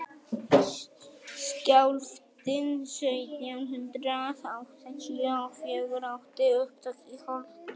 skjálftinn sautján hundrað áttatíu og fjögur átti upptök í holtum